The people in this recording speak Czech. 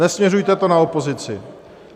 Nesměřujte to na opozici.